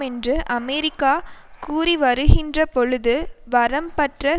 என்று அமெரிக்கா கூறிவருகின்ற பொழுது வரம்பற்ற